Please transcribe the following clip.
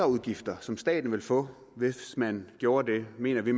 udgifter som staten ville få hvis man gjorde det mener vi